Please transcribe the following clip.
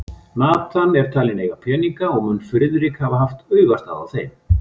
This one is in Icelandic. Nathan var talinn eiga peninga, og mun Friðrik hafa haft augastað á þeim.